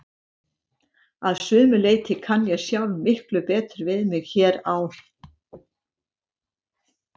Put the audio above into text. Að sumu leyti kann ég sjálf miklu betur við mig hér á